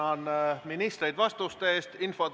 Ma tänan ministreid vastuste eest!